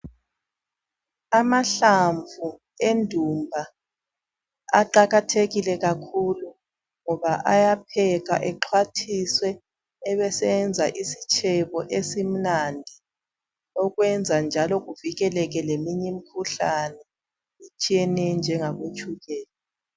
Amahlamvu endumba aqakathekile kakhulu ngoba ayaphekwa exhwathiswe ebeseyenza isitshebo esimnandi okwenza njalo kuvikeleke leminye imikhuhlane etshiyeneyo enjengabotshukela.